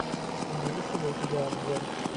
имеется ли у тебя обзор